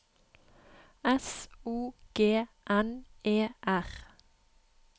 S O G N E R